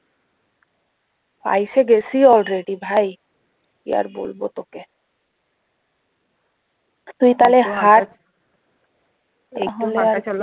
আইসে গেসি already ভাই কি আর বলবো তোকে তুই তাহলে